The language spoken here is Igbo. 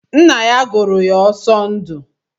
Ńnà yá gụrụ ya Osondu.